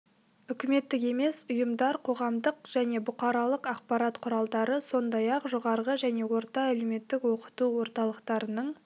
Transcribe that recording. үкіметтік емес ұйымдар қоғамдық және бұқаралық ақпарат құралдары сондай-ақ жоғарғы және орта әлеуметтік оқыту орталықтарының